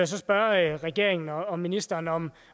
så spørge regeringen og ministeren om